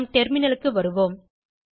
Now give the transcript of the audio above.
நம் டெர்மினலுக்கு வருவோம்